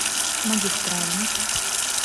магистральный